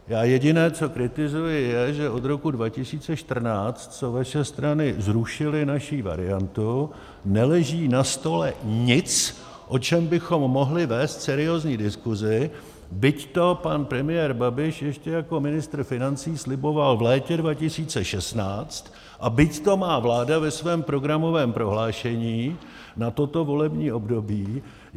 Já jediné, co kritizuji, je, že od roku 2014, co vaše strany zrušily naši variantu, neleží na stole nic, o čem bychom mohli vést seriózní diskusi, byť to pan premiér Babiš ještě jako ministr financí sliboval v létě 2016 a byť to má vláda ve svém programovém prohlášení na toto volební období.